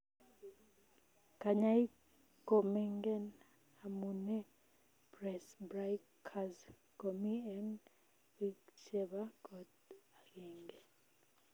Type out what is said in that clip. Kanyaik ko mengen amunee presbycusis komii eng biik chebaa kot agengee